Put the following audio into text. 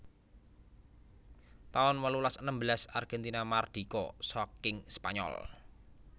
taun wolulas enem belas Argentina mardika saking Spanyol